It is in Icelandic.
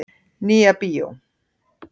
Nýja bíó.